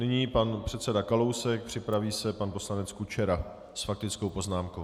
Nyní pan předseda Kalousek, připraví se pan poslanec Kučera s faktickou poznámkou.